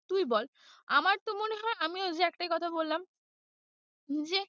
তুই বল আমার তো মনে হয় আমি ওইযে একটাই কথা বললাম যে,